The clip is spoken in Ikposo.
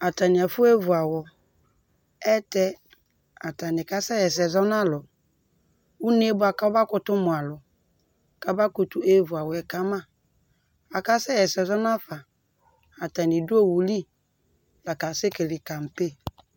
ɑtɑnia fɔɛvuɑwɔ ɑyɛlutɛ ɑtɑni kɑsɛhɛsɛ zɔnɑlu unékɑmɑkutu mualu kɑmɑkutu ɛvuawɔyɛ kɑmɑ ɑkɑsɛhɛsɛzɔ nɑfɑ ɑtɑni du owuli lɑkɑsɛkɛlɛ kɑmpe